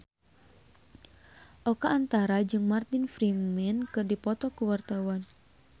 Oka Antara jeung Martin Freeman keur dipoto ku wartawan